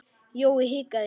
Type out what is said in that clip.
Jói hikaði.